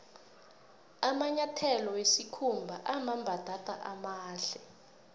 amanyatheto wesikhumba amambatatamahle